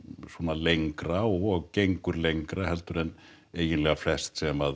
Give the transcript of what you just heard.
lengra og gengur lengra heldur en eiginlega flest sem